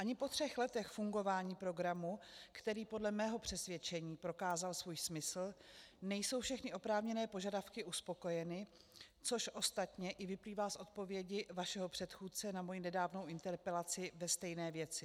Ani po třech letech fungování programu, který podle mého přesvědčení prokázal svůj smysl, nejsou všechny oprávněné požadavky uspokojeny, což ostatně i vyplývá z odpovědi vašeho předchůdce na moji nedávnou interpelaci ve stejné věci.